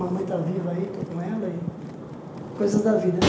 Mamãe está viva aí, eu estou com ela e coisas da vida, né?